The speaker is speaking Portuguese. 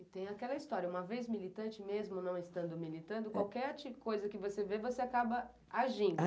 E tem aquela história, uma vez militante mesmo não estando militando, qualquer coisa que você vê, você acaba agindo.